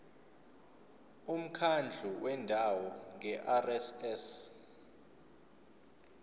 umkhandlu wendawo ngerss